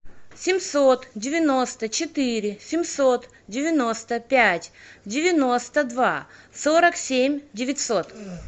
семьсот девяносто четыре семьсот девяносто пять девяносто два сорок семь девятьсот